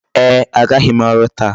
Ee, agaghị m ọrụ taa.